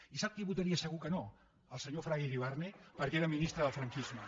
i sap qui votaria segur que no el senyor fraga iribarne perquè era ministre del franquisme